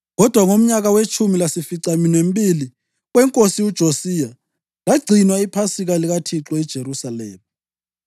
Kodwa ngomnyaka wetshumi lasificaminwembili wenkosi uJosiya, lagcinwa iPhasika likaThixo eJerusalema.